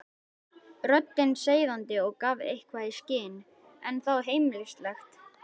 Röddin seiðandi og gaf eitthvað í skyn, en þó heimilisleg.